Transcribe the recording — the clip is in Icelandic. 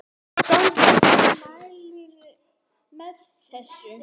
Sólveig: Þú mælir með þessu?